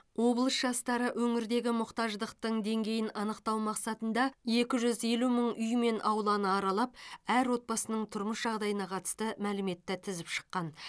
облыс жастары өңірдегі мұқтаждықтың деңгейін анықтау мақсатында екі жүз елу мың үй мен ауланы аралап әр отбасының тұрмыс жағдайына қатысты мәліметті тізіп шыққан